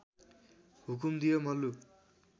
हुकुम दियो मल्लु